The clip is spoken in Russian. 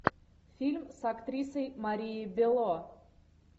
фильм с актрисой марией белло